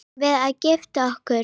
Eigum við að gifta okkur?